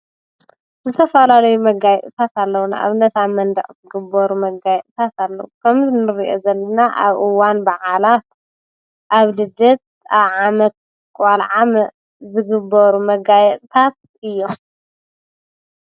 ዝተፈላለየ መጋየፅታት ኣለዉና ኣብ ነሳ መንድዕ ዘግበሩ መጋይ እሳፍ ለዉ ከምዝንርእአ ዘልና ኣብኡዋን ብዓላት ኣብ ልደት ኣብዓመትቆልዓ ዝግበሩ መጋየፅታት እዮም።